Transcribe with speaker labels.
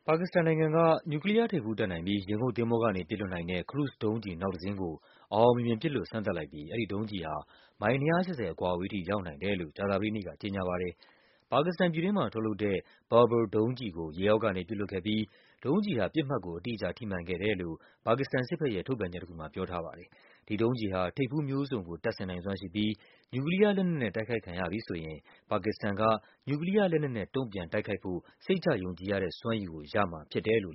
Speaker 1: ါကစ္စတနိုင်ငံက နျူကလီးယားထိပ်ဖူးတပ်နိုင်ပြီး ရေငုပ်သင်္ဘောကနေ ပစ်လွှတ်နိုင်တဲ့ ခရုဇ်ဒုံးကျည် နောက်တစင်းကို အောင်အောင်မြင်မြင် ပစ်လွှတ် စမ်းသပ်လိုက်ပြီး အဲဒီဒုံးကျည်ဟာ မိုင် ၂၈၀ အကွာအဝေးထိ ရောက်နိုင်တယ်လို့ ကြာသပတေး နေ့မှာ ကြေညာပါတယ်။ ပါကစ္စတန်ပြည်တွင်းမှာ ထုတ်လုပ်တဲ့ Babur ဒုံးကျည်ကို ရေအောက်ကနေ ပစ်လွှတ်ခဲ့ပြီး ဒုံးကျည်ဟာ ပစ်မှတ်ကို အတိအကျ ထိမှန်ခဲ့တယ်လို့ ပါကစ္စတန်စစ်ဘက်ရဲ့ ထုတ်ပြန်ချက်တခုမှာ ပြောထားပါတယ်။ ဒုံးကျည်ဟာ ထိပ်ဖူးမျိုးစုံကို တပ်ဆင်နိုင်စွမ်းရှိပြီး နျူကလီးယားလက်နက်နဲ့ တိုက်ခိုက်ခံရပြီဆိုရင် ပါကစ္စတန်က နျူကလီးယား လက်နက်နဲ့ တုန့်ပြန် တိုက်ခိုက်ဖို့ စိတ်ချယုံကြည်ရတဲ့ စွမ်းရည်ကို ရ
Speaker 2: မှာဖြစ်ပါတယ်။